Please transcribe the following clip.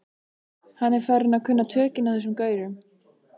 Hann er farinn að kunna tökin á þessum gaurum.